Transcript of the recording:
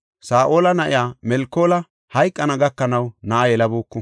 Saa7ola na7iya Melkoola hayqana gakanaw na7a yelabuuku.